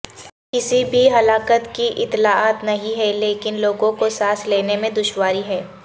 کسی بھی ہلاکت کی اطلاعات نہیں ہیں لیکن لوگوں کو سانس لینے میں دشواری ہے